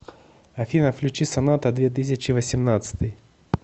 афина включи соната две тысячи восемнадцатый